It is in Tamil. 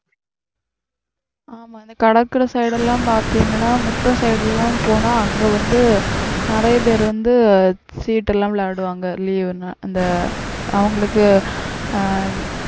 ஆமா இந்த கடற்கரை side எல்லாம் பாத்தீங்கன்னா முட்டம் side எல்லாம் போனா அங்க வந்து நிறைய பேர் வந்து சீட்டு எல்லாம் விளையாடுவாங்க leave ன்னு அந்த அவங்களுக்கு ஆஹ்